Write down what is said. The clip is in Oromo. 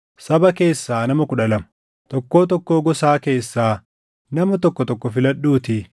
“Saba keessaa nama kudha lama, tokkoo tokkoo gosaa keessaa nama tokko tokko filadhuutii